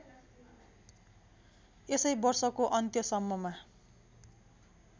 यसै वर्षको अन्त्यसम्ममा